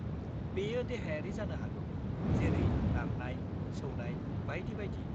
बेयो देहायारि जानो हागौ जेरै नारनाय, सौनाय बायदि बायदि।